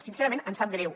sincerament ens sap greu